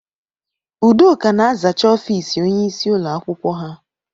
Udoka na-azacha ọfiisi ónyé ịsị ụlọ akwụkwọ ha.